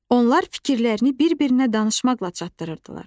Onlar fikirlərini bir-birinə danışmaqla çatdırırdılar.